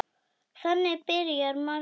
Þannig byrja margar.